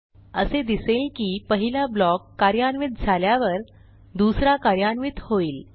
असे दिसेल की पहिला ब्लॉक कार्यान्वित झाल्यावर दुसरा कार्यान्वित होईल